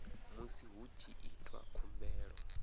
musi hu tshi itwa khumbelo